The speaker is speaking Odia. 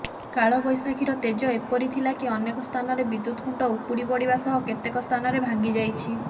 କାଳବୈଶାଖୀର ତେଜ ଏପରି ଥିଲାକି ଅନେକ ସ୍ଥାନରେ ବିଦ୍ୟୁତ ଖୁଣ୍ଟ ଉପୁଡିପଡିବା ସହ କେତେକ ସ୍ଥାନରେ ଭାଙ୍ଗିଯାଇଛି